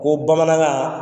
Ko bamanankan